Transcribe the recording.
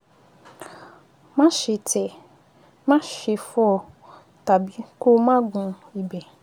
Máṣe tẹ̀ ẹ́, máṣe fọ́ ọ, tàbí kó o máa gún ibẹ̀